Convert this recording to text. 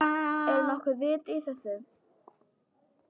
Er nokkuð vit í þessu?